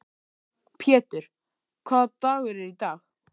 Pjetur, hvaða dagur er í dag?